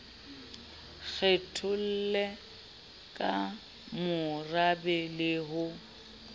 kgetholle ka morabe le ho